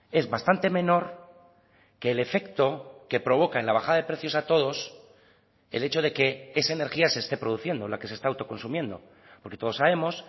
es bastante menor que el efecto que provoca en la bajada de precios a todos el hecho de que esa energía se esté produciendo la que se está autoconsumiendo porque todos sabemos